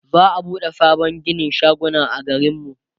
za'a buɗe sabon ginin shaguna a garin mu